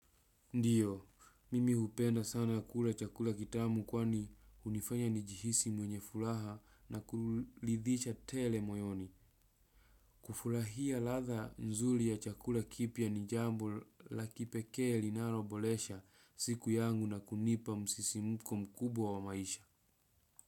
Ndiyo, mimi hupenda sana kula chakula kitamu kwani unifanya nijihisi mwenye fulaha na kulidhisha tele moyoni. Kufulahia latha nzuli ya chakula kipya ni jambo la kipekee linalo bolesha siku yangu na kunipa msisimuko mkubwa wa maisha.